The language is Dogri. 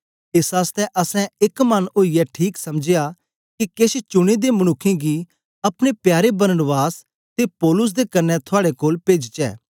एस आसतै असैं एक मन ओईयै ठीक समझया के केछ चुने दे मनुक्खें गी अपने प्यारे बरनबास ते पौलुस दे कन्ने थुआड़े कोल पेजचै